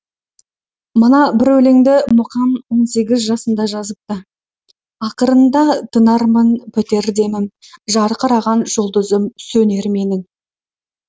мына бір өлеңді мұқаң он сегіз жасында жазыпты ақырында тынармын бітер демім жарқыраған жұлдызым сөнер менің